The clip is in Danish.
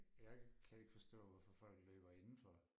Jeg kan ikke forstå hvorfor folk løber inden for